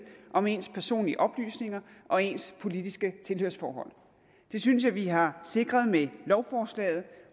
om ens personlige oplysninger og ens politiske tilhørsforhold det synes jeg vi har sikret med lovforslaget